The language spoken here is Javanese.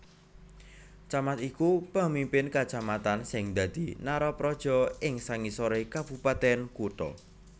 Camat iku pemimpin kacamatan sing dadi narapraja ing sangisoré Kabupatèn Kutha